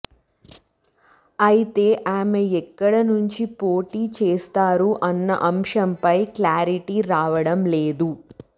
అయితే ఆమె ఎక్కడ నుంచి పోటీ చేస్తారు అన్న అంశంపై క్లారిటీ రావడం లేదు